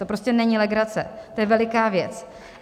To prostě není legrace, to je veliká věc.